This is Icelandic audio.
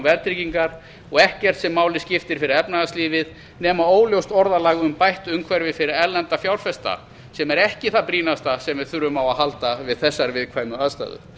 verðtryggingar og ekkert sem máli skiptir fyrir efnahagslífið nema óljóst orðalag um bætt umhverfi fyrir erlenda fjárfesta sem eru ekki það brýnasta sem við þurfum á að halda við þessar viðkvæmu aðstæður